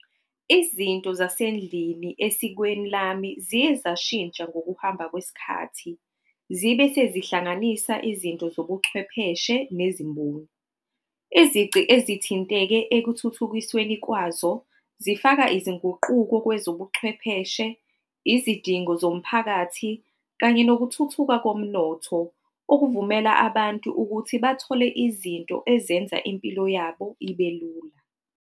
Izinto zasendlini esikweni lami ziye zashintsha ngokuhamba kwesikhathi, zibe sezihlanganisa izinto zobuchwepheshe nezimboni. Izici ezithinteke ekuthuthukisweni kwazo zifaka izinguquko kwezobuchwepheshe, izidingo zomphakathi kanye nokuthuthukwa komnotho, okuvumela abantu ukuthi bathole izinto ezenza impilo yabo ibe lula.